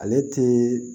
Ale ti